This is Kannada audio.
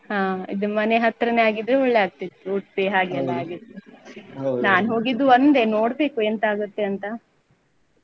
ಹಾ ಇದು ಮನೆ ಹತ್ರನೇ ಆಗ್ತಿದ್ರೆ ಒಳ್ಳೆ ಆಗ್ತಿತ್ತು Udupi ಹಾಗೆಲ್ಲ ಆಗಿದ್ರೆ. ನಾನ್ ಹೋಗಿದ್ದು ಒಂದೇ ನೋಡ್ಬೇಕು ಎಂತ ಆಗುತ್ತೆ ಅಂತ.